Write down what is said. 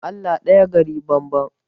Allah ɗaya gari banban